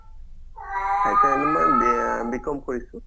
মই BM BCOM কৰিছো